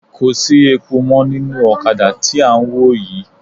Kò sí epo mọ́ nínú ọ̀kadà tí à ń wò yii